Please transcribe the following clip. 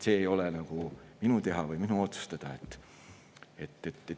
See ei ole minu teha või minu otsustada.